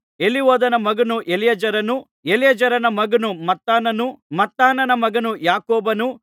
ಎಲಿಹೂದನ ಮಗನು ಎಲಿಯಾಜರನು ಎಲಿಯಾಜರನ ಮಗನು ಮತ್ತಾನನು ಮತ್ತಾನನ ಮಗನು ಯಾಕೋಬನು